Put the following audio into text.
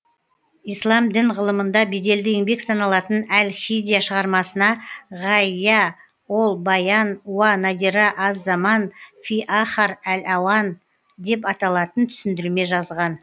ислам дін ғылымында беделді еңбек саналатын әл һидия шығармасына ғаййа ол байан уа надира аз заман фи ахар әл ауан деп аталатын түсіндірме жазған